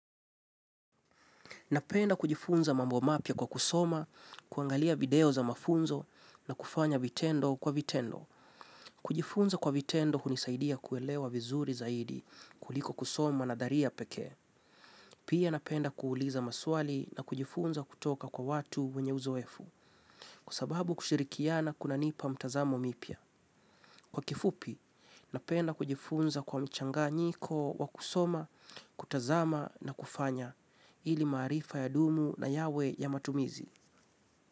Napenda kujifunza mambo mapya kwa kusoma, kuangalia video za mafunzo na kufanya vitendo kwa vitendo. Kujifunza kwa vitendo hunisaidia kuelewa vizuri zaidi kuliko kusoma nadharia pekee. Pia napenda kuuliza maswali na kujifunza kutoka kwa watu wenye uzoefu kwa sababu kushirikiana kunanipa mitazamo mipya. Kwa kifupi, napenda kujifunza kwa mchanganyiko, wa kusoma, kutazama na kufanya ili maarifa yadumu na yawe ya matumizi.